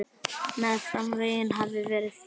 Meðfram veggjum hafa verið bekkir.